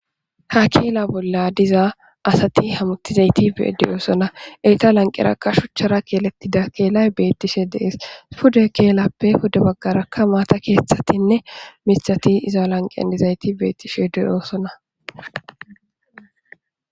ha keela bolla diza asati hamutizayti beedeyoosona eyta lanqerakka shuchchara keelettida keelay beettishe dees pudey keelappe puda baggarakka maata keeththatinne mithati iza lanqeadizayti beettishe deyoosona